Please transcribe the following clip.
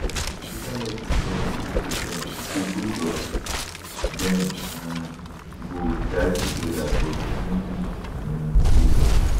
e later lock di door on both of dem to say both of dem um go dia togeda but e no give um reason